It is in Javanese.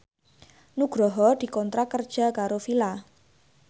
Nugroho dikontrak kerja karo Fila